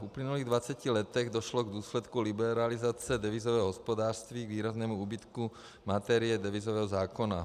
V uplynulých 20 letech došlo v důsledku liberalizace devizového hospodářství k výraznému úbytku materie devizového zákona.